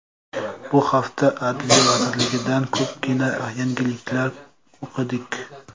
Bu hafta Adliya vazirligidan ko‘pgina yangiliklar o‘qidik.